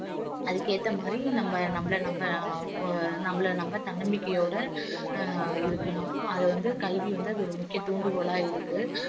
அதுக்கு ஏத்த மாதிரி நம்ப நம்மள நம்ம அஹ் நம்மள நம்ம தன்னம்பிக்கையோடு அஹ் இருக்கணும் அது வந்து கல்வி வந்து அது ஒரு முக்கிய தூண்டுகோலா இருக்கு